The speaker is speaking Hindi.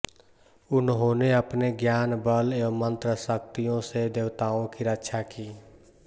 उन्होंने अपने ज्ञान बल व मंत्र शक्तियों से देवताओं की रक्षा की